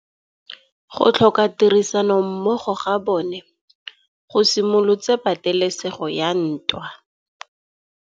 Go tlhoka tirsanommogo ga bone go simolotse patêlêsêgô ya ntwa.